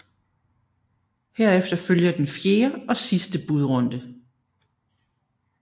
Herefter følger den fjerde og sidste budrunde